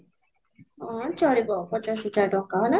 ହଁ, ଚାଲିବ ପଚାଶ ହଜାର ଟଙ୍କା ହିଁ ନା?